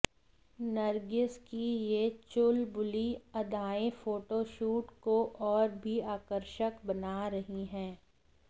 नर्गिस की ये चुलबुली अदाएं फोटोशूट को और भी आकर्षक बना रही है